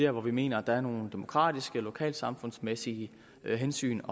hvor vi mener der er nogle demokratiske lokalsamfundsmæssige hensyn